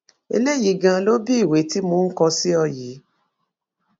eléyìí ganan ló bi ìwé tí mò ń kọ sí ọ yìí